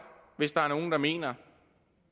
hvis der er nogen der mener